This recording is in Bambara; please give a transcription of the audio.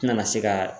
N tɛna se ka